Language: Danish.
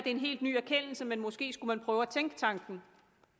en helt ny erkendelse men måske skulle man prøve at tænke tanken